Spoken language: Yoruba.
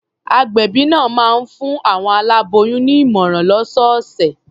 Agbẹ̀bí náà máa ń fún àwọn aláboyùn ní ìmọ̀ràn lọ́sọ̀ọ̀sẹ̀.